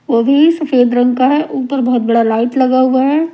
वो भी सफेद रंग का है ऊपर बहुत बड़ा लाइट लगा हुआ है।